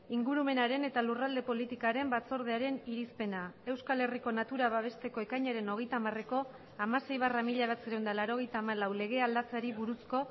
ingurumenaren eta lurralde politikaren batzordearen irizpena euskal herriko natura babesteko ekainaren hogeita hamareko hamasei barra mila bederatziehun eta laurogeita hamalau legea aldatzeari buruzko